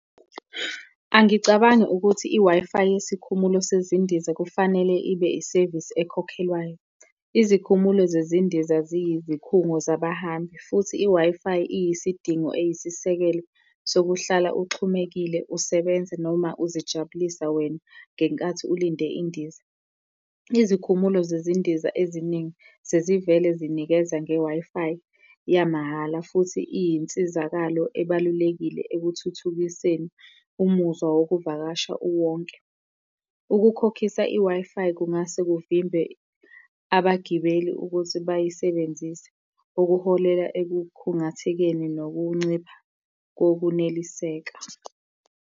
Angicabangi ukuthi i-Wi-Fi yesikhumulo sezindiza kufanele ibe isevisi ekhokhelwayo. Izikhumulo zezindiza ziyizikhungo zabahambi, futhi i-Wi-Fi iyisidingo eyisisekelo sokuhlala uxhumekile usebenza noma uzijabulisa wena ngenkathi ulinde indiza. Izikhumulo zezindiza eziningi sezivele zinikeza nge-Wi-Fi yamahhala, futhi iyinsizakalo ebalulekile ekuthuthukiseni umuzwa wokuvakasha uwonke. Ukukhokhisa i-Wi-Fi kungase kuvimbe abagibeli ukuthi bayisebenzise, okuholela ekukhungathekeni nokuncipha kokuneliseka.